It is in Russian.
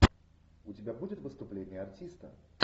у тебя будет выступление артиста